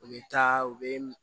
U bɛ taa u bɛ